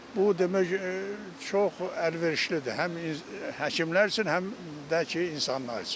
Bu demək çox əlverişlidir, həm həkimlər üçün, həm də ki, insanlar üçün.